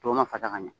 Tɔw ma fasa ka ɲɛ